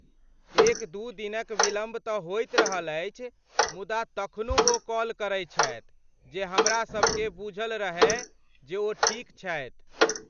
एक दू दिनक विलम्ब तँ होइत रहल अछि, मुदा तखनो ओ कॉल करैत छथि जे हमरासबकेँ बुझल रहय जे ओ ठीक छथि।